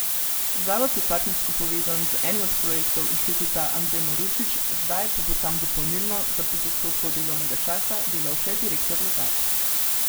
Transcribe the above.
Zavod je partnersko povezan z enim od projektov Inštituta Andrej Marušič, zdaj pa bo tam dopolnilno, za pet odstotkov delovnega časa, delal še direktor Legat.